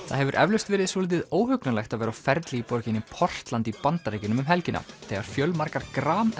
það hefur eflaust verið svolítið óhugnanlegt að vera á ferli í borginni Portland í Bandaríkjunum um helgina þegar fjölmargar